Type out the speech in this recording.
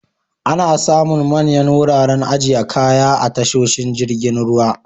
Ana samun manyan wuraren ajiye kaya a tasoshin jirgin ruwa.